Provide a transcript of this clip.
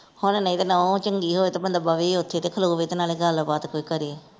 ਹੁਣ ਨਹੀਂ ਤੇ ਨੂੰਹ ਚੰਗੀ ਹੋਏ ਤੇ ਬੰਦਾ ਬਵੇ ਈ ਉੱਥੇ ਤੇ ਖਲੋਵੇ ਤੇ ਨਾਲੇ ਗੱਲ ਬਾਤ ਕੋਈ ਕਰੇ।